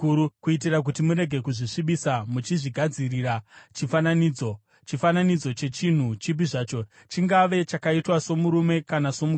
kuitira kuti murege kuzvisvibisa muchizvigadzirira chifananidzo, chifananidzo chechinhu chipi zvacho, chingava chakaitwa somurume kana somukadzi,